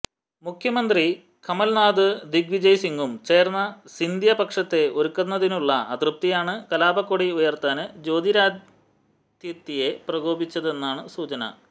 മുഖ്യമന്ത്രി കമല്നാഥും ദ്വിഗ് വിജയ് സിങ്ങും ചേര്ന്ന് സിന്ധ്യ പക്ഷത്തെ ഒതുക്കുന്നതിലുള്ള അതൃപ്തിയാണ് കലാപക്കൊടി ഉയര്ത്താന് ജ്യോതിരാദിത്യയെ പ്രകോപിപ്പിച്ചതെന്നാണ് സൂചന